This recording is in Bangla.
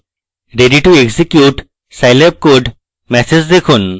ready to execute scilab code message দেখুন